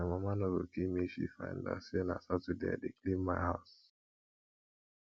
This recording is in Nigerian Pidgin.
my mama go kill me if she find out say na saturday i dey clean my house